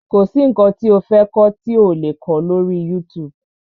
Kọ̀ sí nǹkan tí o fẹ́ kọ́ tí ò le kó lọ́rí YouTube.